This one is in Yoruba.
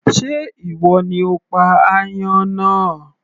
Sé ìwọ ni o pa aáyán náà